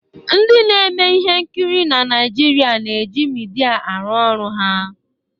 ndị na-emeihe nkiri na Naijiria na-eji midia aru oru ha